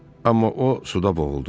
Amma o suda boğuldu.